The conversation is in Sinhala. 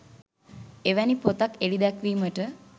එවැනි පොතක් එළි දැක්වීමට